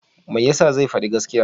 Me ya sa zai faɗi gaskiya?